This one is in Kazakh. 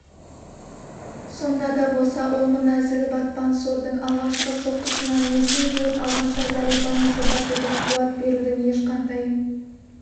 сонда да болса ол мына зіл батпан сордың алғашқы соққысынан есін жиып алғанша зәрипаны жұбатудың қуат берудің ешқандай